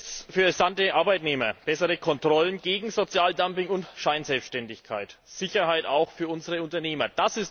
Mehr Fairness für entsandte Arbeitnehmer. Bessere Kontrollen gegen Sozialdumping und Scheinselbständigkeit. Sicherheit auch für unsere Unternehmer.